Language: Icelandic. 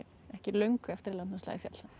ekki löngu eftir að landnámslagið féll